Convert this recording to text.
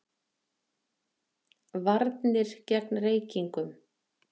VARNIR GEGN REYKINGUM